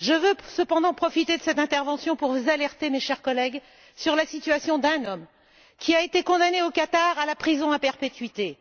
Je veux cependant profiter de cette intervention pour vous alerter, chers collègues, sur la situation d'un homme, condamné, au Qatar, à la prison à perpétuité,